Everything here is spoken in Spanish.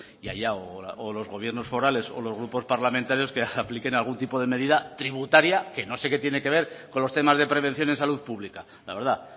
y allá o los gobiernos forales o los grupos parlamentarios que apliquen algún tipo de medida tributaria que no sé qué tiene que ver con los temas de prevención de salud pública la verdad